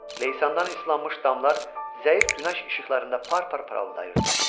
Leysandan islanmış damlar zəif günəş işıqlarında par-par parıldayırdı.